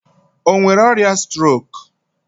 O nwere ọrịa strok?